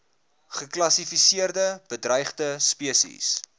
geklassifiseerde bedreigde spesies